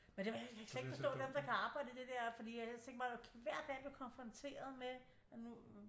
Jeg kan slet ikke forstå dem der kan arbejde i det der fordi jeg tænker bare hver dag at blive konfronteret med at nu